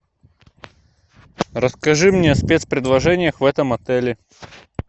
расскажи мне о спецпредложениях в этом отеле